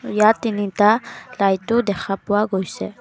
ইয়াত তিনিটা লাইটো দেখা পোৱা গৈছে।